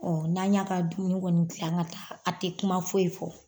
ɲ'an y'a ka dumuni kɔni gilan ka taa a tɛ kuma foyi fɔ.